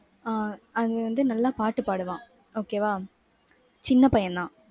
ஆஹ் அவன் வந்து நல்லா பாட்டு பாடுவான். okay வா. சின்ன பையன்தான்.